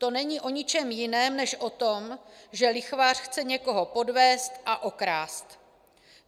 To není o ničem jiném než o tom, že lichvář chce někoho podvést a okrást.